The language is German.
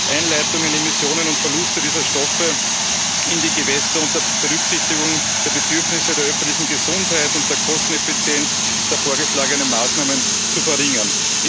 Einleitungen, Emissionen und Verluste dieser Stoffe in die Gewässer unter Berücksichtigung der Bedürfnisse der öffentlichen Gesundheit und der Kosteneffizienz der vorgeschlagenen Maßnahmen zu verringern.